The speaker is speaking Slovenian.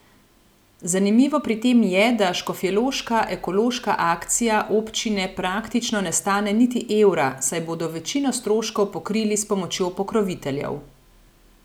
Zanimivo pri tem je, da škofjeloška ekološka akcija občine praktično ne stane niti evra, saj bodo večino stroškov pokrili s pomočjo pokroviteljev.